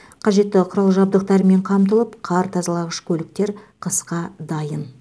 қажетті құрал жабдықтармен қамтылып қар тазалағыш көліктер қысқа дайын